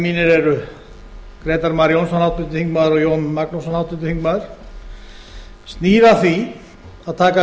mínir eru grétar mar jónsson háttvirtur þingmaður og jón magnússon háttvirtur þingmaður snýr að því að taka upp